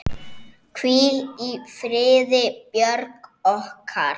Hvíl í friði, Björg okkar.